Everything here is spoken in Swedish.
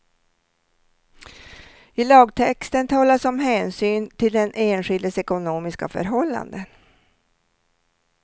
I lagtexten talas om hänsyn till den enskildes ekonomiska förhållanden.